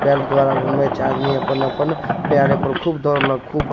द्वारा घूमै छे आदमी अपन-अपन यारे प खूब दौड़लो खूब --